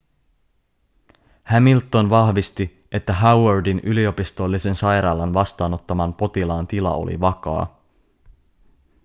hamilton vahvisti että howardin yliopistollisen sairaalan vastaanottaman potilaan tila oli vakaa